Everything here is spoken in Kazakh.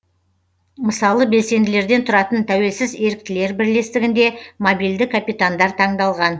мысалы белсенділерден тұратын тәуелсіз еріктілер бірлестігінде мобильді капитандар таңдалған